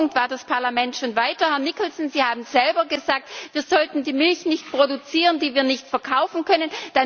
An dem Punkt war das Parlament schon weiter. Herr Nicholson, Sie haben selber gesagt, wir sollten die Milch nicht produzieren, die wir nicht verkaufen können.